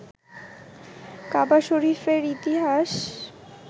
কাবা শরীফের ইতিহাস